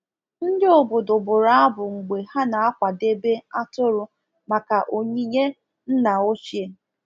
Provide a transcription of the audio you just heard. Ndi obodo bụrụ abụ mgbe ha na-akwadebe atụrụ maka onyinye nna ochie